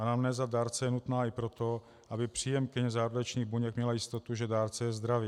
Anamnéza dárce je nutná i proto, aby příjemkyně zárodečných buněk měla jistotu, že dárce je zdravý.